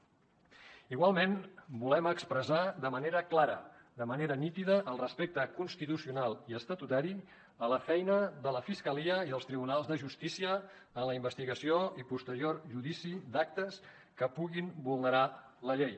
igualment volem expressar de manera clara de manera nítida el respecte constitucional i estatutari a la feina de la fiscalia i dels tribunals de justícia en la investigació i posterior judici d’actes que puguin vulnerar la llei